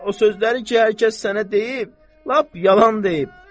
O sözləri ki, hər kəs sənə deyib, lap yalan deyib.